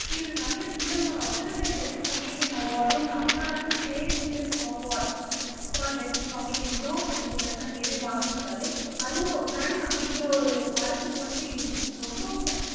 இவரு நிறைய film Filmfare best comedian அவார்டும் Tamil Nadu state films award for best காமிடியன்னு இவரு வந்து நிறையவே வாங்கி இருக்காரு அதுவும் ரன் அப்படிங்கிற ஒரு படத்துக்கு வந்து இவருக்கு ரொம்பவும்